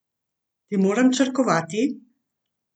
Ti moram črkovati?